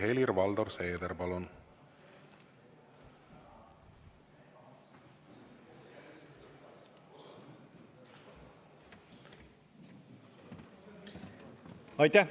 Helir-Valdor Seeder, palun!